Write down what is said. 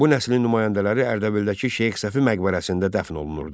Bu nəslin nümayəndələri Ərdəbildəki Şeyx Səfi məqbərəsində dəfn olunurdu.